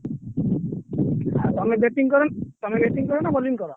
ଆଉ ତମେ batting କର ତମେ batting କର ନା bowling କର।